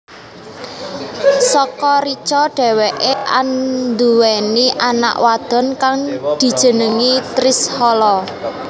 Saka Richa dheweké anduwèni anak wadon kang dijenengi Trishala